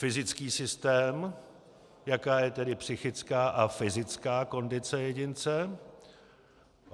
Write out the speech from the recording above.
Fyzický systém, jaká je tedy psychická a fyzická kondice jedince.